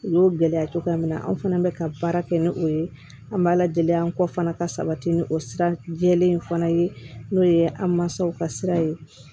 U y'o gɛlɛya cogoya min na anw fana bɛ ka baara kɛ ni o ye an b'a ladiya an kɔ fana ka sabati ni o sira jɛlen fana ye n'o ye an mansaw ka sira ye